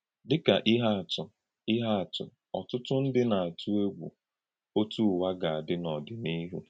Dị́ ka íhè àtụ̀, íhè àtụ̀, ọ̀tụ́tụ̀ ndí na-àtú ègwù otú Ụ̀wà ga-adí n’ọ́dị̀níhù.